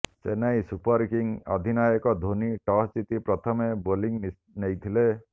Chennai super kings ଅଧିନାୟକ Dhoni toss ଜିତି ପ୍ରଥମେ ବୋଲିଂ ନେଇଥିଲେ